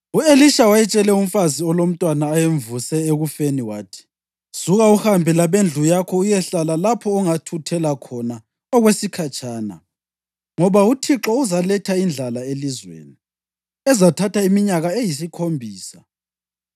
U-Elisha wayetshele umfazi olomntwana ayemvuse ekufeni wathi, “Suka uhambe labendlu yakho uyehlala lapha ongathuthela khona okwesikhatshana, ngoba uThixo uzaletha indlala elizweni ezathatha iminyaka eyisikhombisa.”